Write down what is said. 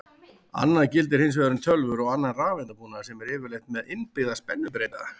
Annað gildir hins vegar um tölvur og annan rafeindabúnað sem er yfirleitt með innbyggða spennubreyta.